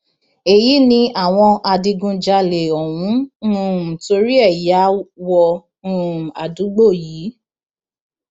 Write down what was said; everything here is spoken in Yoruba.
èyí ni àwọn adigunjalè ọhún um torí ẹ ya wọ um àdúgbò yìí